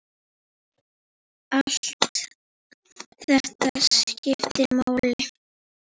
Allt þetta skiptir máli.